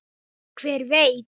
Hver veit?